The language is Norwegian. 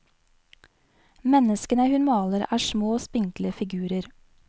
Menneskene hun maler er små spinkle figurer.